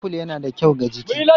Aful yana da kyau ga jiki.